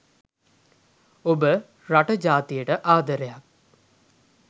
ඔබ රට ජාතියට ආදරයක්